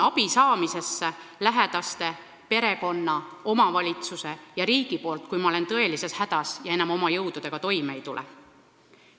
Kas ma usun lähedastelt, perekonnalt, omavalitsuselt ja riigilt abi saamisesse, kui ma olen tõelises hädas ja enam oma jõududega toime ei tule?